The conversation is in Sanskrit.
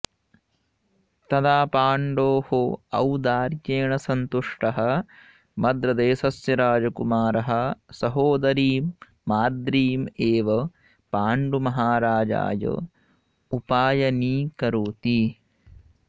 तदा पाण्डोः औदार्येण सन्तुष्टः मद्रदेशस्य राजकुमारः सहोदरीं माद्रीम् एव पाण्डुमहाराजाय उपायनीकरोति